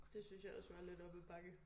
Og det synes jeg også var lidt op ad bakke